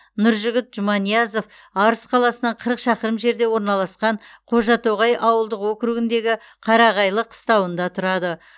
нұржігіт жұманиязов арыс қаласынан қырық шақырым жерде орналасқан қожатоғай ауылдық округіндегі қарағайлы қыстауында тұрады